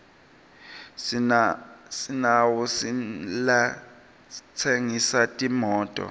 sinawo nalatsengisa timoto